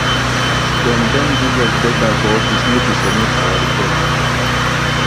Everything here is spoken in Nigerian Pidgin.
dem don give us deadline for office make we submit our report